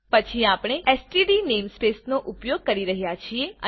પછી આપણે std namespace નો ઉપયોગ કરી રહ્યા છીએ